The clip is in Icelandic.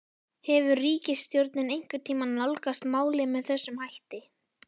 Hefur ríkisstjórnin einhvern tímann nálgast málið með þessum hætti?